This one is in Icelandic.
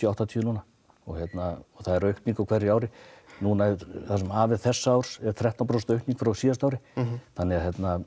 og áttatíu núna og það er aukning á hverju ári það sem af er þessa árs hefur þrettán prósent aukning frá síðasta ári þannig að